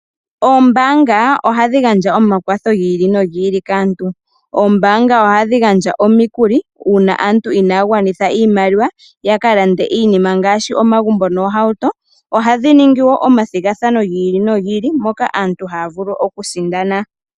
Ombaanga ohadhi gandja omakwatho gi ili nogi ili kaantu. Oombanga ohadhi gandja omikuli uuna aantu inaya gwanitha iimaliwa, ya ka lande iinima ngaashi omagumbo noohauto. Ohadhi ningi wo omathigathano gi ili nogi ili moka aantu haya vulu okusindana.